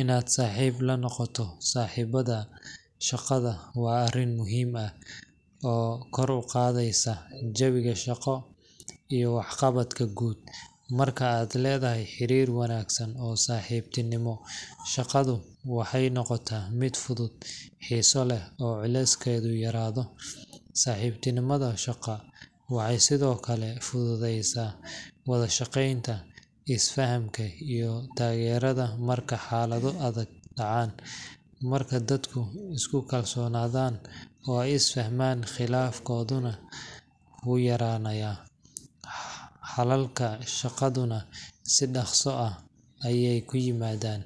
Inaad saaxiib la noqoto asxaabtaada shaqada waa arrin muhiim ah oo kor u qaadaysa jawiga shaqo iyo waxqabadka guud. Marka aad leedahay xiriir wanaagsan oo saaxiibtinimo, shaqadu waxay noqotaa mid fudud, xiiso leh, oo culeyskeedu yaraado. Saaxiibtinimada shaqo waxay sidoo kale fududeysa wada shaqeynta, is fahamka, iyo taageerada marka xaalado adag dhacaan. Marka dadku isku kalsoonaadaan oo ay is fahmaan, khilaafaadkuna wuu yaraanayaa, xalalka shaqaduna si dhakhso ah ayey ku yimaadaan.